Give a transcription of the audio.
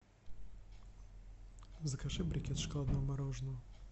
закажи брикет шоколадного мороженого